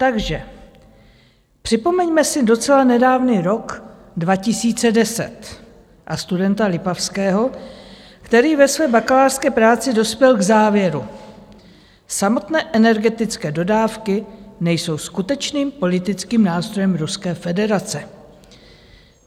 Takže připomeňme si docela nedávný rok 2010 a studenta Lipavského, který ve své bakalářské práci dospěl k závěru: Samotné energetické dodávky nejsou skutečným politickým nástrojem Ruské federace.